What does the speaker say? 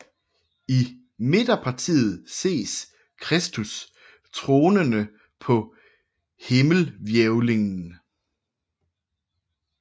I midterpartiet ses Kristus tronende på himmelhvælvingen